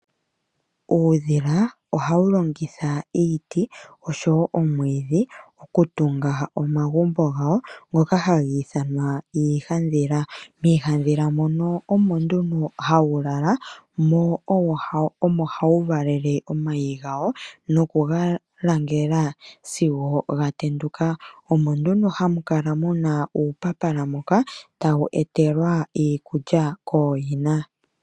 Uudhila ohawu longitha iiti osho woo omwiidhi okutunga omagumbo gawo ngoka haga ithwana iihandhila. Miihandhila mono omo nduno hawu lala, mo omo hawu valele omayi gawo, nokuga langela sigo ga tenduka. Omo nduno hamu kala mu na uupapala moka tawu etelwa iikulya kooyina.